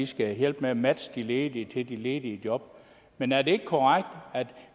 skal hjælpe med at matche de ledige til de ledige job men er det ikke korrekt at